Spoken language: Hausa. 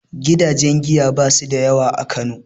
Gidajen giya ba su da yawa a Kano